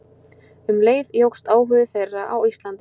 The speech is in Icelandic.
Um leið jókst áhugi þeirra á Íslandi.